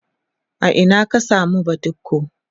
a Ina ka samu badiko?